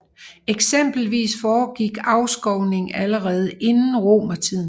Eksempelvis foregik afskovning allerede inden romertiden